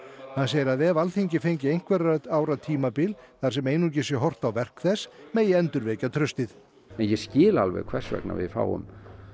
hann segir að ef Alþingi fengi einhverra ára tímabil þar sem einungis sé horft á verk þess megi endurvekja traust en ég skil alveg hvers vegna við fáum